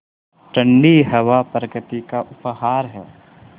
ठण्डी हवा प्रकृति का उपहार है